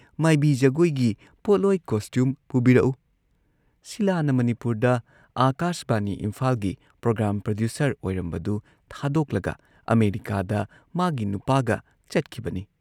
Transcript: ꯃꯥꯏꯕꯤ ꯖꯒꯣꯏꯒꯤ ꯄꯣꯠꯂꯣꯏ ꯀꯣꯁꯇ꯭ꯌꯨꯝ ꯄꯨꯕꯤꯔꯛꯎ" ꯁꯤꯂꯥꯅ ꯃꯅꯤꯄꯨꯔꯗ ꯑꯥꯀꯥꯁꯕꯥꯅꯤ ꯏꯝꯐꯥꯜꯒꯤ ꯄ꯭ꯔꯣꯒ꯭ꯔꯥꯝ ꯄ꯭ꯔꯗ꯭ꯌꯨꯁꯔ ꯑꯣꯏꯔꯝꯕꯗꯨ ꯊꯥꯗꯣꯛꯂꯒ ꯑꯃꯦꯔꯤꯀꯥꯗ ꯃꯥꯒꯤ ꯅꯨꯄꯥꯒ ꯆꯠꯈꯤꯕꯅꯤ꯫